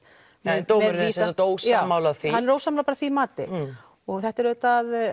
en dómurinn er sem sagt ósammála því já hann er ósammála því mati og þetta er auðvitað